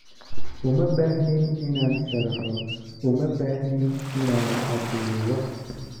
"Uma baahnin inaan sharaxo, uma baahnin inaan caddeeyo wax".